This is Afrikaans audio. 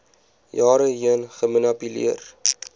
jare heen gemanipuleer